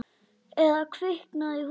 Eða kviknað í húsinu.